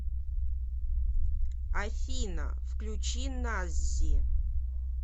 афина включи наззи